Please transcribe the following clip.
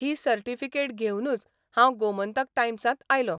ही certificate घेवनूच हांव गोमंतक टायम्सांत आयलों.